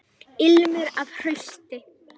Ilmur af hausti!